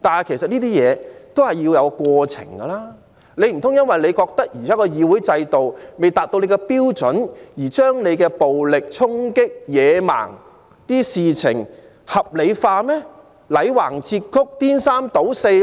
其實這些事要有一個過程，難道他們認為現時的議會制度未達其標準便可將其暴力衝擊等野蠻行為合理化、歪曲事實、顛三倒四嗎？